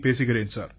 பேசுகிறேன் சார்